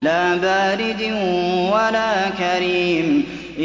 لَّا بَارِدٍ وَلَا كَرِيمٍ